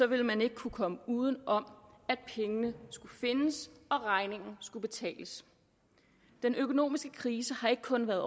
ville man ikke kunne komme uden om at pengene skulle findes og regningen skulle betales den økonomiske krise har ikke kun været